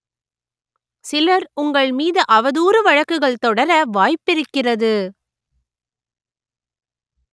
சிலர் உங்கள் மீது அவதூறு வழக்குகள் தொடர வாய்ப்பிருக்கிறது